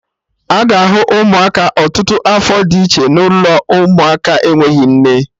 Aga ahụ Ụmụaka ọtụtụ afọ dị iche n'ụlọ ụmụaka enweghị nne